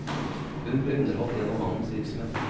Hun ble underholdt gjennom mannens virksomhet.